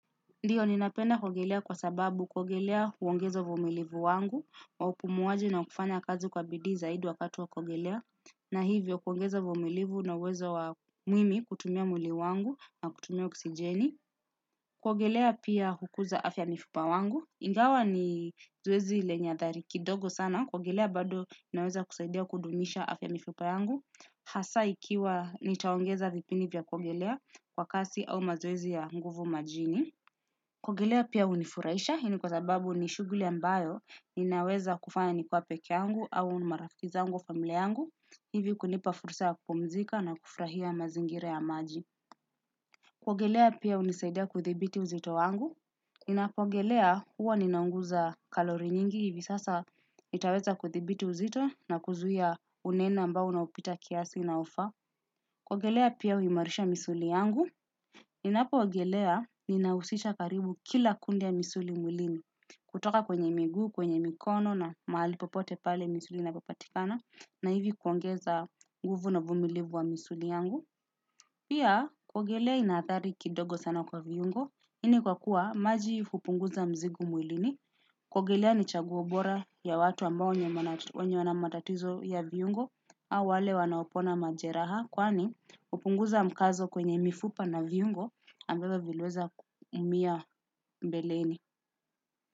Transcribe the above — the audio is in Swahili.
Ndiyo ninapenda kuogelea kwa sababu kuogelea huongeza uvumilivu wangu wa upumuaji na kufanya kazi kwa bidii zaidi wakati wa kuogelea. Na hivyo kuongeza uvumilivu na uwezo wa mimi kutumia mwili wangu na kutumia oxijeni. Kuogelea pia hukuza afya ya mifupa wangu. Ingawa ni zoezi lenye athari kidogo sana. Kuogelea bado unaweza kusaidia kudumisha afya ya mifupa yangu. Hasa ikiwa nitaongeza vipini vya kuogelea kwa kasi au mazoezi ya nguvu majini. Kuogelea pia hunifurahisha, hii kwa sababu nishuguli ambayo ninaweza kufanya nikiwa pekeangu au na marafiki zangu wa familia yangu, hivi kunipa fursa kupumzika na kufurahia mazingira ya maji. Kuogelea pia hunisaidia kuithibiti uzito wangu, ninapoogelea huwa ninaunguza kalori nyingi hivi sasa nitaweza kuthibiti uzito na kuzuia unene ambao unaopita kiasi unaofa. Kuogelea pia huimarisha misuli yangu. Ninapo ogelea ninahusisha karibu kila kundi ya misuli mwilini. Kutoka kwenye miguu, kwenye mikono na mahali popote pale misuli inapopatikana na hivi kuongeza nguvu na vumilivu wa misuli yangu. Pia, kuogelea ina athari kidogo sana kwa viungo, hii ni kwa kuwa maji hupunguza mzigo mwilini, kuogelea ni chaguo bora ya watu ambao wenye wanamatatizo ya viungo, au wale wanaopona majeraha, kwani hupunguza mkazo kwenye mifupa na viungo, ambavyo viliweza umia mbeleni.